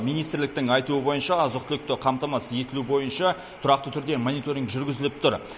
министрліктің айтуы бойынша азық түлікті қамтамасыз етілу бойынша тұрақты түрде мониторинг жүргізіліп тұр